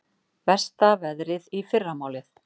Versta veðrið í fyrramálið